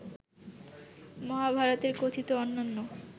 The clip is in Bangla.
মহাভারতে কথিত অন্যান্য